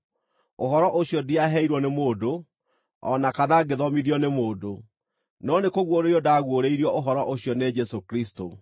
Ũhoro ũcio ndiaheirwo nĩ mũndũ, o na kana ngĩthomithio nĩ mũndũ; no nĩ kũguũrĩrio ndaguũrĩirio Ũhoro ũcio nĩ Jesũ Kristũ.